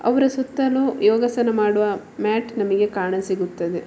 ಅವರ ಸುತ್ತಲೂ ಯೋಗಾಸನ ಮಾಡುವ ಮ್ಯಾಟ್ ನಮಗೆ ಕಾಣ ಸಿಗುತ್ತದೆ.